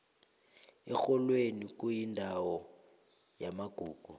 erholweni kuyindawo yamagugu